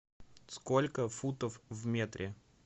сколько футов в метре